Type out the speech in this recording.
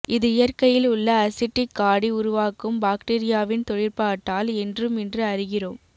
இது இயற்கையில் உள்ள அசிட்டிக் காடி உருவாக்கும் பாக்டீரியாவின் தொழிற்பாட்டால் என்றும் இன்று அறிகிறோம்